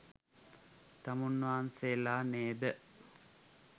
තමුන්නාන්සේලා නේද?